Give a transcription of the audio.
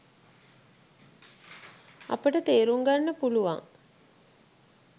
අපට තේරුම්ගන්න පුළුවන්